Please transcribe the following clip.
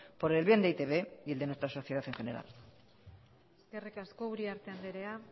por el bien de e i te be y de nuestra sociedad en general eskerrik asko uriarte andrea